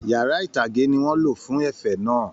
Yàrá itage ní wọn lọ fún ẹ̀fẹ̀ náà.